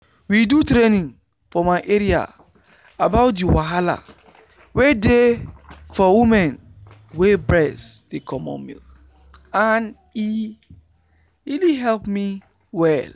we do training for my area about the wahala wey dey for women wey breast dey comot milk and e really help me well.